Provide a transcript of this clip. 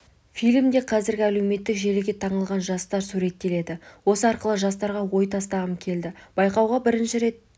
фильмде қазіргі әлеуметтік желіге таңылған жастар суреттеледі осы арқылы жастарға ой тастағым келді байқауға бірінші рет